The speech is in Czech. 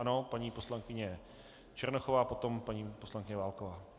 Ano, paní poslankyně Černochová, potom paní poslankyně Válková.